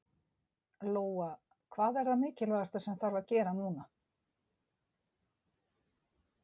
Lóa: Hvað er það mikilvægasta sem þarf að gera núna?